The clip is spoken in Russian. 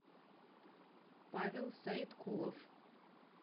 павел саиткулов